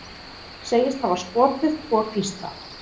Segist hafa skotið tvo gísla